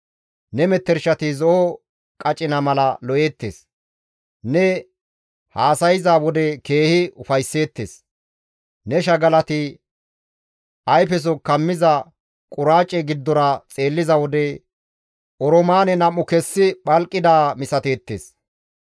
Ne metershati zo7o qacina mala lo7eettes; ne haasayza wode keehi ufaysseettes; ne shagalati ayfeso kammiza quraace giddora xeelliza wode oroomaane nam7u kessi phalqidaa misateettes.